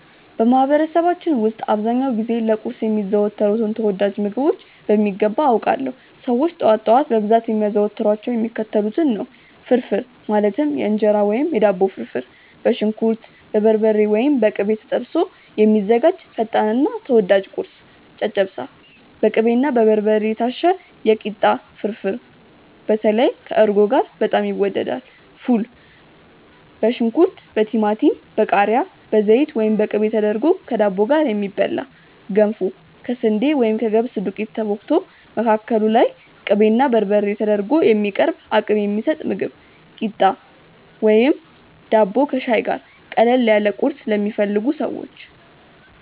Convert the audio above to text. በማህበረሰባችን ውስጥ አብዛኛውን ጊዜ ለቁርስ የሚዘወተሩትን ተወዳጅ ምግቦች በሚገባ አውቃለሁ! ሰዎች ጠዋት ጠዋት በብዛት የሚያዘወትሯቸው የሚከተሉትን ነው፦ ፍርፍር (የእንጀራ ወይም የዳቦ ፍርፍር)፦ በሽንኩርት፣ በበርበሬ (ወይም በቅቤ) ተጠብሶ የሚዘጋጅ ፈጣንና ተወዳጅ ቁርስ። ጨጨብሳ፦ በቅቤና በበርበሬ የታሸ የኪታ ፍርፍር (በተለይ ከእርጎ ጋር በጣም ይወደዳል)። ፉል፦ በሽንኩርት፣ በቲማቲም፣ በቃሪያ፣ በዘይት ወይም በቅቤ ተደርጎ ከዳቦ ጋር የሚበላ። ገንፎ፦ ከስንዴ ወይም ከገብስ ዱቄት ተቦክቶ፣ መካከሉ ላይ ቅቤና በርበሬ ተደርጎ የሚቀርብ አቅም የሚሰጥ ምግብ። ኪታ፣ ቂጣ ወይም ዳቦ ከሻይ ጋር፦ ቀለል ያለ ቁርስ ለሚፈልጉ ሰዎች።